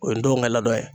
O ye n denw ka laadon ye